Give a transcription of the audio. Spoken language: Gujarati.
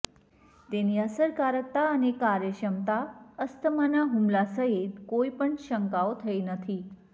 તેની અસરકારકતા અને કાર્યક્ષમતા અસ્થમાના હુમલા સહિત કોઈપણ શંકાઓ થઇ નથી